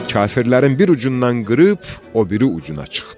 Kafirlərin bir ucundan qırıb o biri ucuna çıxdı.